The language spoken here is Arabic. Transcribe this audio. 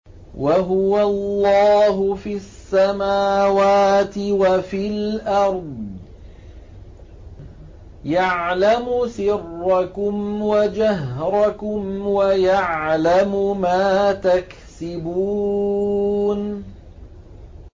وَهُوَ اللَّهُ فِي السَّمَاوَاتِ وَفِي الْأَرْضِ ۖ يَعْلَمُ سِرَّكُمْ وَجَهْرَكُمْ وَيَعْلَمُ مَا تَكْسِبُونَ